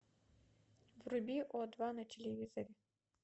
вруби о два на телевизоре